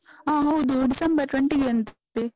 ಹ ಹೌದು, December December twenty ಗೆಯಂತೆ.